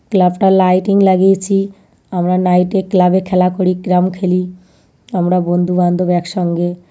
Club -টার lighting লাগিয়েছি আমরা নাইট -এ ক্লাব -এ খেলা করি ক্যারাম খেলি। আমরা বন্ধুবান্ধব একসঙ্গে।